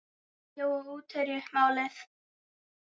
Jói útherji málið?